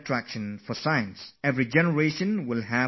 Each generation should lay stress on innovation